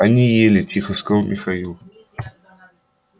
они ели тихо сказал михаил